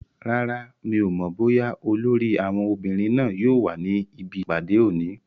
Rárá, mi ò mọ̀ bóyá olórí àwọn obìnrin náà yóò wà níbi ìpàdé òní